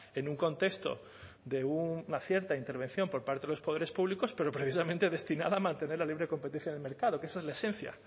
en un contexto de una cierta intervención por parte de los poderes públicos pero precisamente destinada a mantener la libre competencia del mercado que esa es la esencia